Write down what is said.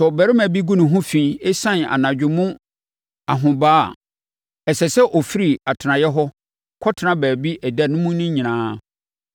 Sɛ ɔbarima bi ho gu fi ɛsiane anadwo mu ahobaa a, ɛsɛ sɛ ɔfiri atenaeɛ hɔ kɔtena baabi ɛda mu no nyinaa.